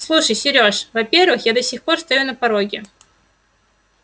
слушай серёж во-первых я до сих пор стою на пороге